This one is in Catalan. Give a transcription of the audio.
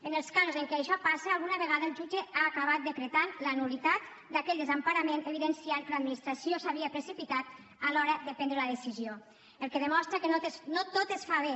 en els casos en què això passa alguna vegada el jutge ha acabat decretant la nul·litat d’aquell desemparament i ha evidenciat que l’administració s’havia precipitat a l’hora de prendre la decisió cosa que demostra que no tot es fa bé